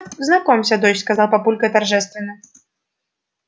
знакомься дочь сказал папулька торжественно